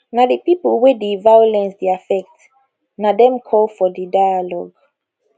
na di pipo wey di violence dey affect na dem call for di dialogue